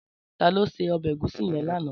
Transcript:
Tàló sé òbè égúsì yèn làná?